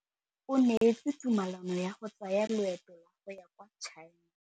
O neetswe tumalanô ya go tsaya loetô la go ya kwa China.